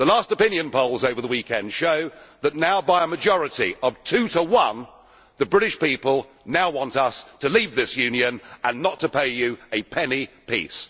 The last opinion polls over the weekend show that, by a majority of two to one, the British people now want us to leave this Union and not to pay you a penny piece.